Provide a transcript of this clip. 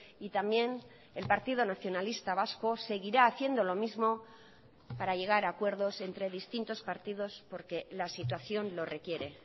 y también el partido nacionalista vasco seguirá haciendo lo mismo para llegar a acuerdos entre distintos partidos porque la situación lo requiere